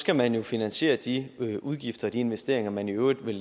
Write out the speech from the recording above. skal man jo finansiere de udgifter de investeringer man i øvrigt vil